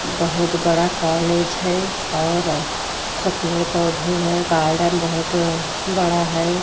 बहुत बड़ा कौलेज है और सब पेड़ पौधे है गार्डन बहुत बड़ा है।